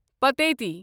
پٹیتی